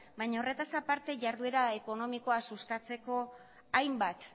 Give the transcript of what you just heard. baina horretaz aparte jarduera ekonomikoa sustatzeko hainbat